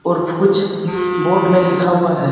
और कुछ बोर्ड में लिखा हुआ है।